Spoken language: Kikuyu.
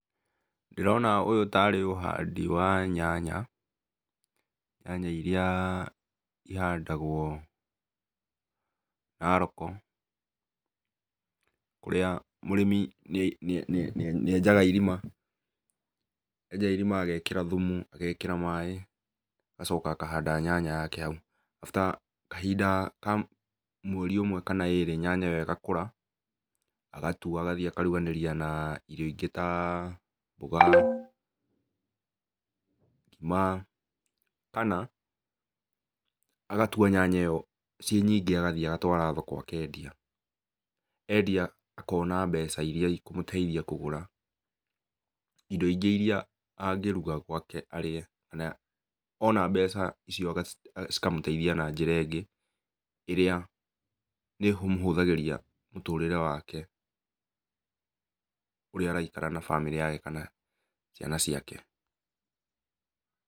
Ndĩrona ũyũ ta rĩ ũhandi wa nyanya, nyanya iria ihandagwo Narok, kũrĩa mũrĩmi nĩ enjaga irima agekĩra thumu agakĩra maĩ, agacoka akahanda nyanya yake hau after kahinda ka mweri ũmwe na ĩrĩ nyanya ĩyo ĩgakũra agatua agathiĩ akaruganĩria na irio ingĩ ta, mboga, ngima, kana agatua nyanya ĩyo ciĩ nyingĩ agathiĩ agatwara thoko akendia, endia akona mbeca iria ikũmũteithia kũgũra indo ingĩ iria angĩgũra arĩe, ona mbeca icio agacihũthĩra na njĩra ĩngĩ iria nĩ imũhũthagĩria mũtũrĩre wake ũrĩa araikara na bamĩrĩ take kana ciana ciake.